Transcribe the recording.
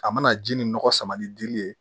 A mana ji nin nɔgɔ sama ni dili ye